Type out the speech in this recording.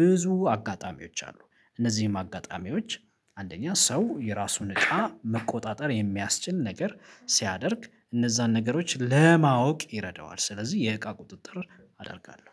ብዙ አጋጣሚዎች አሉ። እነዚህም አጋጣሚዎች አንደኛ ሰው የራሱን እቃ መቆጣጠር የሚያስችል ነገር ሲያደርግ እነዛን ነገሮች ለማወቅ ይረዳዋል ስለዚህ የእቃ ቁጥጥር አደርጋለሁ